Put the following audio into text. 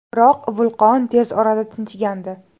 Biroq vulqon tez orada tinchigandi.